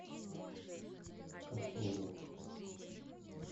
касулу